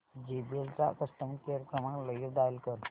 JBL चा customer care क्रमांक लगेच डायल कर